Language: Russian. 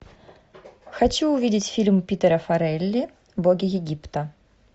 хочу увидеть фильм питера фаррелли боги египта